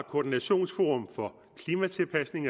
koordinationsforum for klimatilpasning